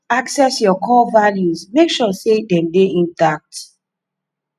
access your core values and make sure sey dem dey intact